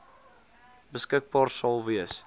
beskikbaar sal wees